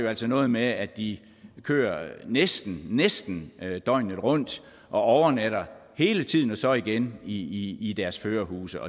altså noget med at de kører næsten næsten døgnet rundt og overnatter hele tiden og så igen i i deres førerhuse